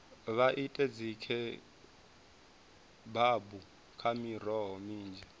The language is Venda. vha ite dzikhebabu nga miroho minzhi